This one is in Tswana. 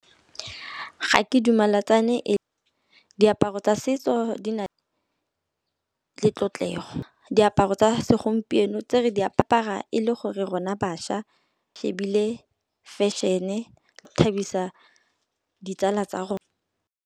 Ga ke dumalatsane diaparo tsa setso di na le di tlotlego. Diaparo tsa segompieno tse re di apara e le gore rona baša ebile fashion-e go thabisa ditsala tsa rona.